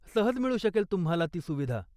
सहज मिळू शकेल तुम्हाला ती सुविधा.